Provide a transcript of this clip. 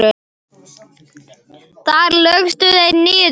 Þar lögðust þeir niður.